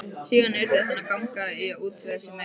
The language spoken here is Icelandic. Síðan yrði hann að ganga í að útvega sér meira.